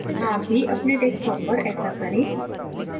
आप भी अपने desktop पर ऐसा करें